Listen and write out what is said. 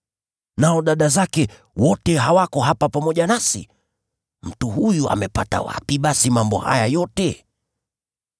Nao dada zake wote, hawako hapa pamoja nasi? Mtu huyu amepata wapi basi mambo haya yote?”